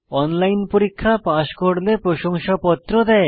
online পরীক্ষা pass করলে প্রশংসাপত্র দেয়